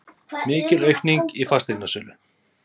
Mikil aukning í fasteignasölu